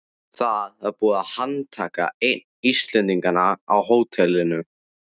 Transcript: Það var búið að handtaka einn Íslendinganna á hótelinu.